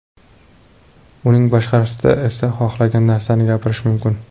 Uning tashqarisida esa xohlagan narsani gapirish mumkin.